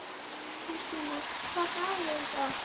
Þorsteina, hvaða dagur er í dag?